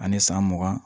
Ani san mugan